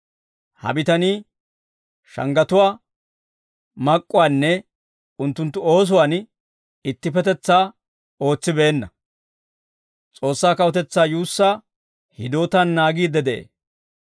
Ha bitanii shanggatuwaa mak'k'uwaanne unttunttu oosuwaan ittippetetsaa ootsibeenna. S'oossaa kawutetsaa yuussaa hidootaan naagiidde de'ee.